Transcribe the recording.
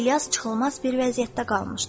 İlyas çıxılmaz bir vəziyyətdə qalmışdı.